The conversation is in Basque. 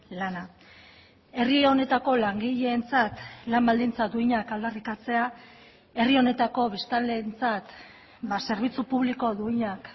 lana herri honetako langileentzat lan baldintza duinak aldarrikatzea herri honetako biztanleentzat zerbitzu publiko duinak